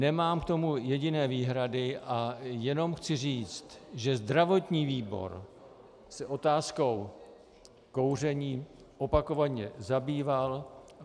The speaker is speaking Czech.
Nemám k tomu jediné výhrady a jenom chci říct, že zdravotní výbor se otázkou kouření opakovaně zabýval.